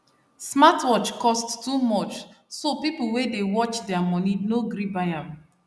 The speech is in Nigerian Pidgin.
smartwatch cost too much so people wey dey watch their money no gree buy am